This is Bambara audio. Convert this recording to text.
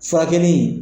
Furakɛli